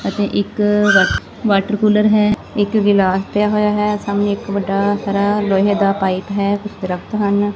ਅਤੇ ਇੱਕ water cooler ਹੈ ਇੱਕ ਗਿਲਾਸ ਪਿਆ ਹੋਇਆ ਹੈ ਸਾਹਮਣੇ ਇੱਕ ਵੱਡਾ ਸਾਰਾ ਲੋਹੇ ਦਾ ਪਾਈਪ ਹੈ ਕੁਛ ਦਰਖਤ ਹਨ।